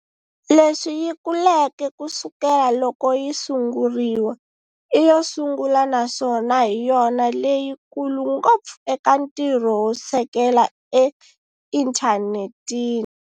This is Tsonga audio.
Leswi yi kuleke kusukela loko yi sunguriwa, i yo sungula naswona hi yona leyi kulu ngopfu eka ntirho wo sekela e inthanetini.